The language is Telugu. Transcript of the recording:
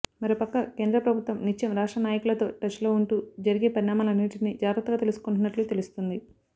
మరో పక్క కేంద్ర ప్రభుత్వం నిత్యం రాష్ట్ర నాయకులతో టచ్ లో ఉంటూ జరిగే పరిణామాలన్నింటి జాగ్రత్తగా తెలుసుకుంటున్నట్లు తెలుస్తుంది